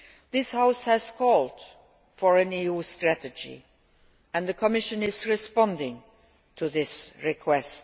This House has called for an EU strategy and the Commission is responding to this request.